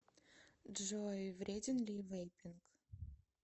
джой вреден ли вейпинг